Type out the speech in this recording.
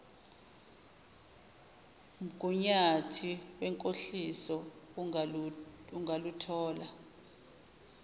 mgunyathi wenkohliso ungaluthola